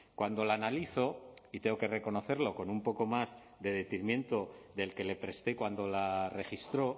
cuando la analizo y tengo que reconocerlo con un poco más de detenimiento del que le presté cuando la registró